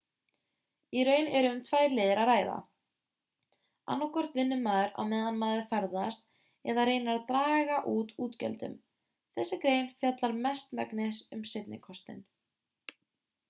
í raun er um tvær leiðir að ræða annaðhvort vinnur maður á meðan maður ferðast eða reynir að draga úr útgjöldum þessi grein fjallar mestmegnis um seinni kostinn